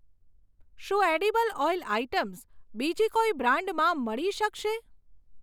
શું edible oil items બીજી કોઈ બ્રાન્ડમાં મળી શકશે?